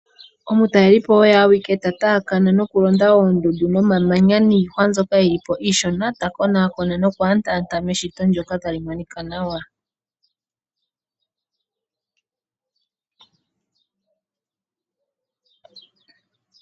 Omutalelipo oye awuke ta taakana nokulonda oondundu niihwa nomamanya mbyoka iishona ta konaakona noku andaanda eshito ndjok tali monika nawa.